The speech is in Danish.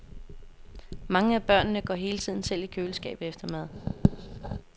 Mange af børnene går hele tiden selv i køleskabet efter mad.